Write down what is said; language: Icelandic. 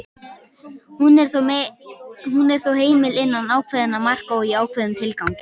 hún er þó heimil innan ákveðinna marka og í ákveðnum tilgangi